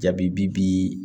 Jaabi bi bi